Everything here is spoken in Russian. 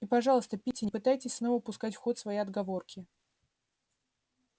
и пожалуйста питти не пытайтесь снова пускать в ход свои отговорки